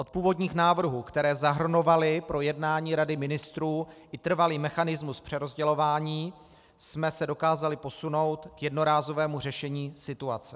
Od původních návrhů, které zahrnovaly pro jednání Rady ministrů i trvalý mechanismus přerozdělování, jsme se dokázali posunout k jednorázovému řešení situace.